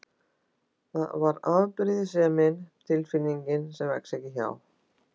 Það var afbrýðisemin, tilfinning sem vex ekki hjá